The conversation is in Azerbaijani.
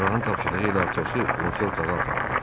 Cərrahın tapşırığı ilə Atosu qonşu otağa apardılar.